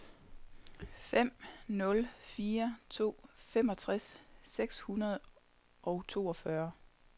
fem nul fire to femogtres seks hundrede og toogfyrre